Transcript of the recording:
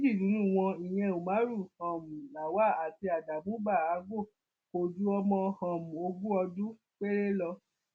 méjì nínú wọn ìyẹn umaru um lawal àti adamu bahago kò ju ọmọ um ogún ọdún péré lọ